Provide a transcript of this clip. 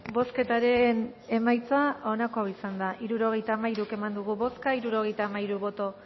bozketaren emaitza onako izan da hirurogeita hamairu eman dugu bozka hirurogeita hamairu boto